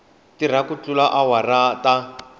tirha ku tlula tiawara ta